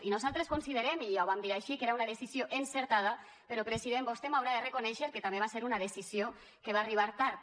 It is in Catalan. i nosaltres considerem i ja ho vam dir així que era una decisió encertada però president vostè m’haurà de reconèixer que també va ser una decisió que va arribar tard